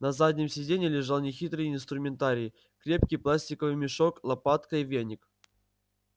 на заднем сиденье лежал нехитрый инструментарий крепкий пластиковый мешок лопатка и веник